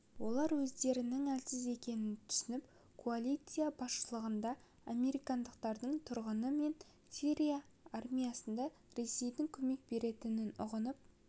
олар өздерінің әлсіз екенін түсініп коалиция басшылығында американдықтардың тұрғаны мен сирия армиясына ресейдің көмек беретінін ұғынып